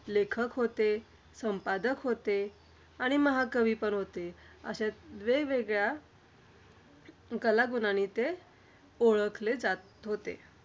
लेखक होते, संपादक होते आणि महाकवी पण होते. अश्या वेगवेगळ्या कलागुणांनी ते ओळखले जात होते.